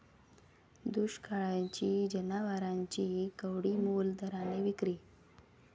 दुष्काळामुळे जनावरांची कवडीमोल दराने विक्री